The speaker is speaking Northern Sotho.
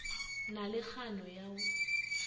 na le kgano ya go